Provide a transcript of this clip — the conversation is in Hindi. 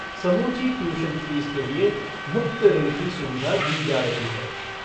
समूची ट्यूशन फ़ीस के लिए मुफ़्त ऋण की सुविधा दी जा रही है।